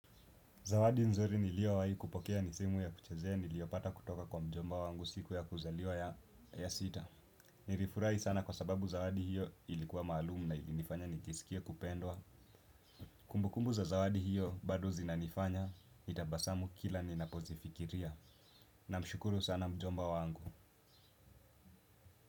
Zawadi nzuri niliowahi kupokea ni simu ya kuchezea niliopata kutoka kwa mjomba wangu siku ya kuzaliwa ya sita. Nirifurahi sana kwa sababu zawadi hiyo ilikuwa maalumu na ilinifanya nikisikia kupendwa. Kumbukumbu za zawadi hiyo bado zinanifanya, nitabasamu kila ninapozifikiria. Na mshukuru sana mjomba wangu.